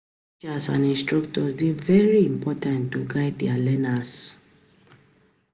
Teachers and instructors dey very important to guide di learner